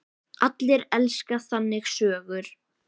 Allir elska þannig sögur.